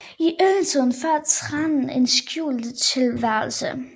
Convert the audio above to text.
I yngletiden fører tranen en skjult tilværelse